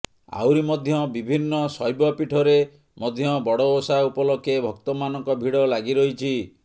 ଆହୁରି ମଧ୍ୟ ବିଭିନ୍ନ ଶୈବ ପୀଠରେ ମଧ୍ୟ ବଡ ଓଷା ଉପଲକ୍ଷେ ଭକ୍ତମାନଙ୍କ ଭିଡ ଲାଗିରହିଛି